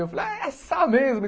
Eu falei, é essa mesmo?